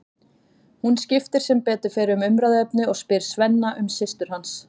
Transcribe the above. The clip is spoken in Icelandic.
Hún skiptir sem betur fer um umræðuefni og spyr Svenna um systur hans.